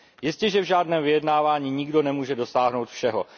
Jistěže v žádném vyjednávání nikdo nemůže dosáhnout všeho.